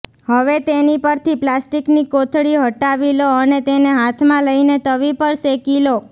હવે તેની પરથી પ્લાસ્ટિકની કોથળી હટાવી લો અને તેને હાથમાં લઇને તવી પર શેકી લો